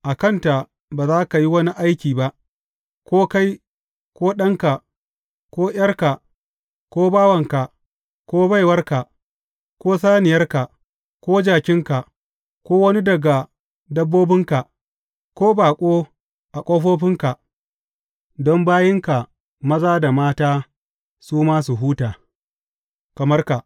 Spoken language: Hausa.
A kanta ba za ka yi wani aiki ba, ko kai, ko ɗanka, ko ’yarka, ko bawanka, ko baiwarka, ko saniyarka, ko jakinka, ko wani daga dabbobinka, ko baƙo a ƙofofinka, don bayinka maza da mata su ma su huta, kamar ka.